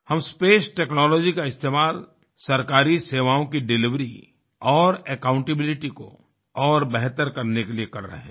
हम space technology का इस्तेमाल सरकारी सेवाओं की डिलिवरी और अकाउंटेबिलिटी को और बेहतर करने के लिए कर रहे हैं